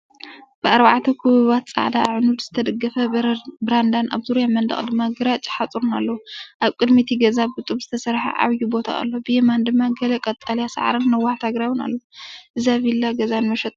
ብኣርባዕተ ክቡባት ጻዕዳ ኣዕኑድ ዝተደገፈ በረንዳን ኣብ ዙርያ መንደቕ ድማ ግራጭ ሓጹርን ኣለዎ። ኣብ ቅድሚ እቲ ገዛ ብጡብ ዝተሰርሐ ዓቢይ ቦታ ኣሎ፣ ብየማን ድማ ገለ ቀጠልያ ሳዕርን ነዋሕቲ ኣግራብን ኣለዉ። እዛ ቪላ ገዛ ንመሸጣ ድያ?